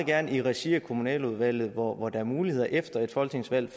gerne i regi af kommunaludvalget hvor hvor der er muligheder for efter et folketingsvalg